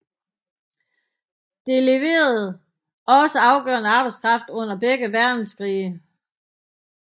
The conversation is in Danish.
Det leverede også afgørende arbejdskraft under begge verdenskrige